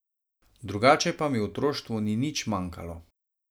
Drugače pa mi v otroštvu ni nič manjkalo.